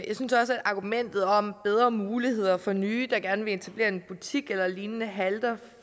jeg synes også at argumentet om bedre muligheder for nye der gerne vil etablere en butik eller lignende halter